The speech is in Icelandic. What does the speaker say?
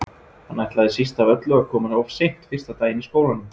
Hann ætlaði síst af öllu að koma of seint fyrsta daginn í skólanum.